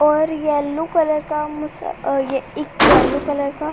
और yellow colour का मुस और यह एक येल्लो कलर का --